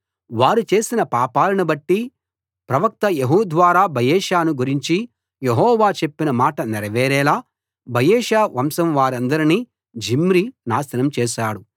వారు చేసిన పాపాలను బట్టి ప్రవక్త యెహూ ద్వారా బయెషాను గురించి యెహోవా చెప్పిన మాట నెరవేరేలా బయెషా వంశం వారందరినీ జిమ్రీ నాశనం చేశాడు